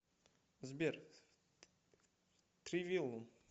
сбер тривиум